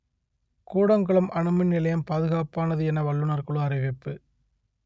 கூடங்குளம் அணுமின் நிலையம் பாதுகாப்பானது என வல்லுநர் குழு அறிவிப்பு